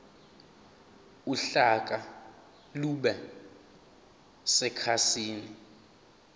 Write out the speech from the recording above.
uhlaka lube sekhasini